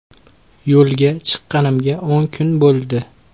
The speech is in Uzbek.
Yo‘lga chiqqanimga o‘n kun bo‘ldi.